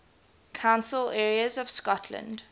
council areas of scotland